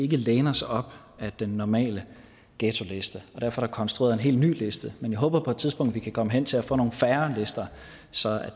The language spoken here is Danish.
kan læne os op ad den normale ghettoliste og derfor er der konstrueret en helt ny liste men jeg håber at vi på et tidspunkt kan komme hen til at få nogle færre lister så